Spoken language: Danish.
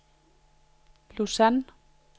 Lausanne